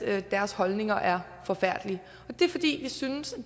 at deres holdninger er forfærdelige det er fordi vi synes